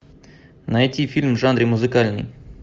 найти фильм в жанре музыкальный